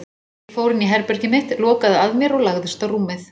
Ég fór inn í herbergið mitt, lokaði að mér og lagðist á rúmið.